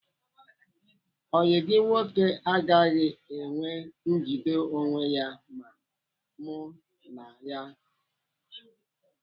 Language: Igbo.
Ọyị gị nwoke agaghị enwe njide onwe ya ma mụ nwaa ya.